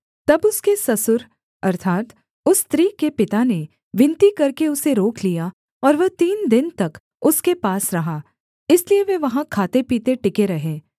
तब उसके ससुर अर्थात् उस स्त्री के पिता ने विनती करके उसे रोक लिया और वह तीन दिन तक उसके पास रहा इसलिए वे वहाँ खाते पीते टिके रहे